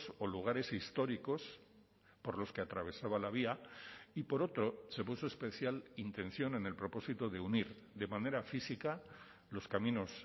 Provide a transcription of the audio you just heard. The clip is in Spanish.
o lugares históricos por los que atravesaba la vía y por otro se puso especial intención en el propósito de unir de manera física los caminos